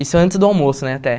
Isso antes do almoço, né, até.